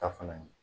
Ta fana ye